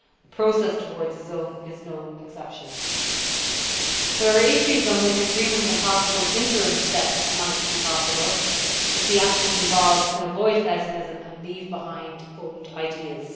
The process towards a zone is no exception. There are issues on which agreement on possible interim steps might be possible, if the actors involved can avoid pessimism and leave behind old ideas.